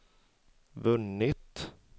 vunnit